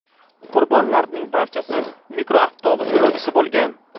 Qurbonlarning barchasi mikroavtobus yo‘lovchisi bo‘lgan.